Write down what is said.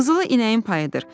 “Qızılı inəyin payıdır.